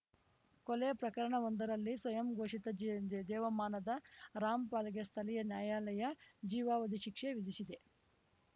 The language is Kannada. ಕೊಲೆ ಪ್ರಕರಣವೊಂದರಲ್ಲಿ ಸ್ವಯಂಘೋಷಿತ ಜೇ ದೇವಮಾನದ ರಾಮ್‌ಪಾಲ್‌ಗೆ ಸ್ಥಳೀಯ ನ್ಯಾಯಾಲಯ ಜೀವಾವಧಿ ಶಿಕ್ಷೆ ವಿಧಿಸಿದೆ